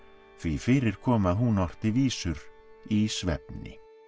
því fyrir kom að hún orti vísur í svefni